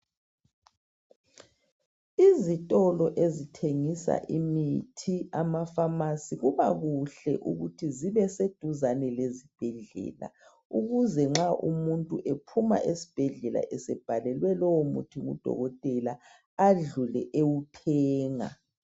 Izitolo ezithengisa imithi, amafamasi . Kubakuhle ukuthi zibeseduzane lesibhedlela ukuze nxa umuntu ephuma ezibhedlela esebhalelwe lowomuthi ngudokotela adlule ewuthenga.